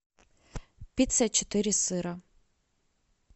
пицца четыре сыра